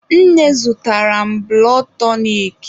Nne zụtara m bụlọd tọnik.